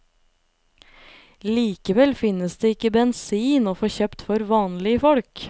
Likevel finnes det ikke bensin å få kjøpt for vanlige folk.